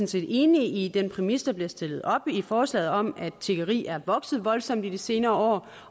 set enige i den præmis der bliver stillet op i forslaget om at tiggeri er vokset voldsomt i de senere år